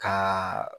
Ka